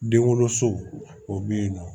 Den wolo so o be yen nɔ